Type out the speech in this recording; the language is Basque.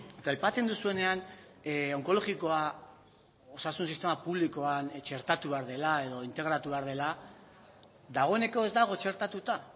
eta aipatzen duzuenean onkologikoa osasun sistema publikoan txertatu behar dela edo integratu behar dela dagoeneko ez dago txertatuta